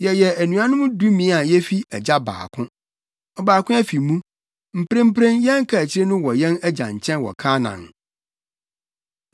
Yɛyɛ anuanom dumien a yefi agya baako. Ɔbaako afi mu. Mprempren, yɛn kaakyiri no wɔ yɛn agya nkyɛn wɔ Kanaan.’